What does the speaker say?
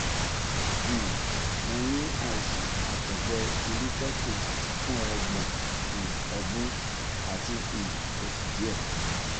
um mo ní àìsàn àtọgbẹirúfẹ kejì fún ọgbọn um ọdún àti um oṣù díẹ